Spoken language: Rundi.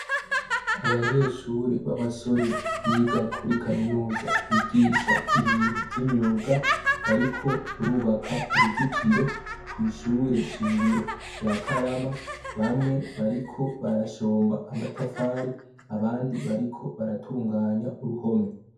Abanyeshure babasore biga kuri kamenuza bigisha ibintu vy'imyuga bariko barubaka uruzitiro kwishure shingiro ryakarama bamwe bariko barashomba amatafari abandi bariko baratunganya uruhome.